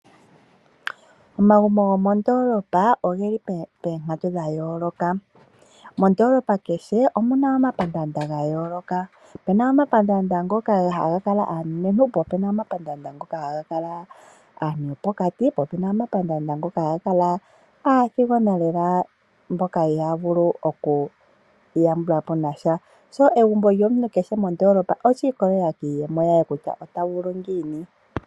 Omagumbo gomondoolopa ogeli poonkatu dha yooloka. Mondoolopa kehe omuna omapandaanda ga yooloka. Opuna omapandaanda ngoka ha ga kala aanenentu , opuna omapandaanda ngoka haga kala aantu yopokati, po opuna omapandaanda ngoka ha ga kala aathigona lela mboka ihaya vulu oku iyambulapo nasha. Egumbo lyomuntu kehe mondoolopa olya ikolelela kiiyemo ye kutya ota vulu ngiini.